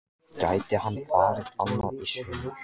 Gæti hann farið annað í sumar?